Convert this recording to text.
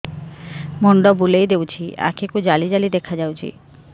ମୁଣ୍ଡ ବୁଲେଇ ଦେଉଛି ଆଖି କୁ ଜାଲି ଜାଲି ଦେଖା ଯାଉଛି